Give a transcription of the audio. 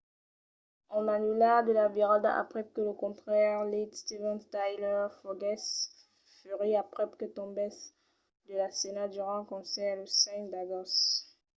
an anullat la virada aprèp que lo cantaire lead steven tyler foguèsse ferit aprèp que tombèsse de la scèna durant un concèrt lo 5 d’agost